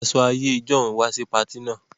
Wọn wọ aṣọ àìyẹ́ ìjọ̀un wà sì pààtì náà